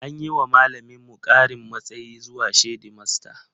An yi wa malaminmu ƙarin matsayi zuwa shedimasta